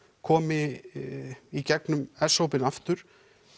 komi í gegnum s hópinn aftur